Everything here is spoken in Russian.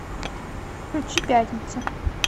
включи пятница